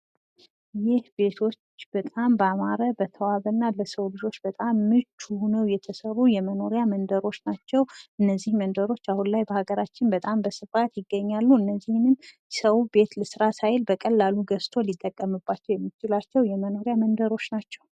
ይህ ቤቶች በጣም ባማረ እና በተዋበ መልኩ እና ለሰው ልጅ መኖሪያ በጣም ምቹ ሆነው የተሰሩ የመኖሪያ መንደሮች ናቸው። በሃገራችን በስፋት የሚገኙ ሲሆን የሰው ልጅ ምን ልስራ ሳይል የሚኖርባቸው የመኖሪያ መንደሮች ናቸው።